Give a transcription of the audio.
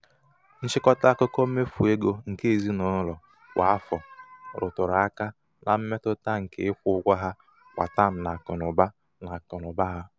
nchịkọta akụkọ mmefu égo nke ezinaụlọ kwa afọ rụtụrụ aka na mmetụta nke ịkwụ ụgwọ ha kwa tam n'akụnaụba n'akụnaụba ha.